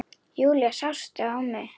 Júlía, sástu mig?